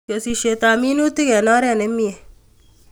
Kesishet ab minutik eng oret nimie